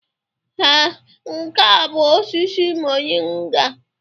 Ee, nke a bụ osisi moringa.